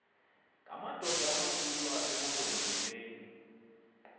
ngamadoda amakhulu asemampondomiseni